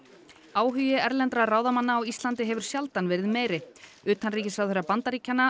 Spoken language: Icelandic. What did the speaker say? áhugi erlendra ráðamanna á Íslandi hefur sjaldan verið meiri utanríkisráðherra Bandaríkjanna